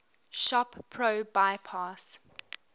shop pro bypass